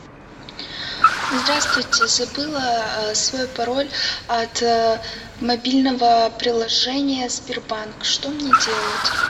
здравствуйте забыла свой пароль от мобильного приложения сбербанк что мне делать